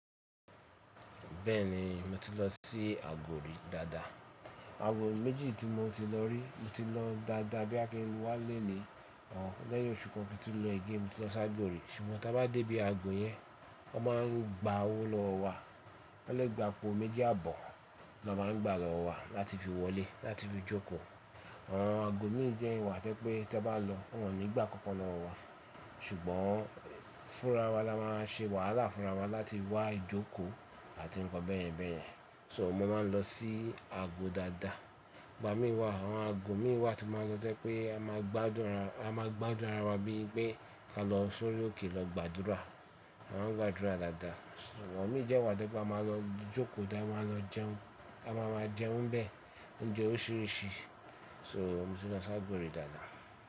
Bẹ́ẹ̀ni, mo ti lọ sí agbo rí dáadáa. Aago méjì tí mo ti lọ rí, mo ti lọ dáadáa bí a fi ń wá léèlé, lẹ́yìn oṣù kan kí n tó lọ igi mo ti lọ sagbo rí. Ṣùgbọ́n tí a bá dé ibi ago yẹn, wọ́n máa ń gba owó lọ́ wa. Lẹ́ ẹ̀ gbà apo méjì àbọ̀ ni wọ́n máa ń gbà lọ́wọ́ wa láti fi wọlé láti fi jókòó. Awọn ago mí jẹ́ ìwà tẹ́ pé tí o bá lọ wọ́n ò ní gbà kánkan lọ wọ wá, ṣùgbọ́n fúnra wa ni a máa ń ṣe wàhálà fúnra wa láti wá ìjókòó àti ń kan bẹ́ẹ̀yẹn bẹ́ẹ̀yẹn. So mo máa ń lọ sí ago dáadáa. Gba mí wá, àwọn ago mí wá tí máa ń lọ tẹ́ pé a máa gbàdún rà, a máa gbàdún ara wa bí i pé ká lọ sórí òkè lọ gbàdúrà, a máa ń gbàdúrà dáadáa. Wọ́n ò ní jẹ́ ìwà tẹ́ pé a máa lọ jókòó dáa, a máa lọ jẹun, a máa máa jẹun bẹ, oúnjẹ oríṣiríṣi. So mo ti lọ sagbo rí dáadáa.